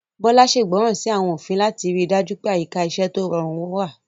Bola ṣègbọràn sí àwọn òfin láti rí i dájú pé àyíká iṣẹ́ tó rọrùn wà.